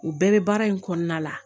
U bɛɛ bɛ baara in kɔnɔna la